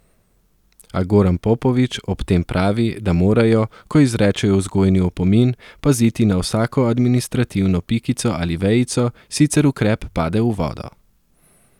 A Goran Popović ob tem pravi, da morajo, ko izrečejo vzgojni opomin, paziti na vsako administrativno pikico ali vejico, sicer ukrep pade v vodo.